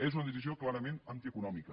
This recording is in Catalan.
és una decisió clarament antieconòmica